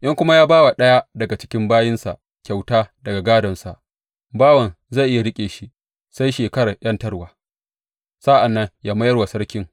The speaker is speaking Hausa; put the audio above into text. In kuma ya ba wa ɗaya daga cikin bayinsa kyauta daga gadonsa, bawan zai iya riƙe shi sai shekarar ’yantarwa; sa’an nan ya mayar wa sarkin.